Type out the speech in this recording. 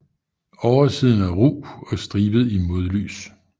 Oversiden er ru og stribet i modlys